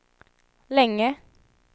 länge